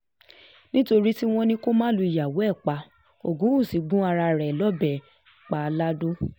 nítorí tí um wọ́n ní kó má lùyàwó ẹ̀ pa ògúnwúsì gún aráalé rẹ̀ um lọ́bẹ̀ pa lado